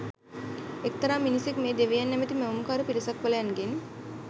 එක්තරා මිනිසෙක් මේ දෙවියන් නැ‍මැති මැවුම්කාර පිටසක්වලයන්ගෙන්